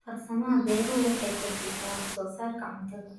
Farsamada beeruhu waxay kordhisaa wax soo saarka cuntada.